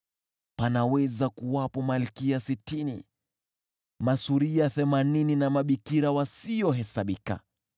Panaweza kuwepo malkia sitini, masuria themanini na mabikira wasiohesabika;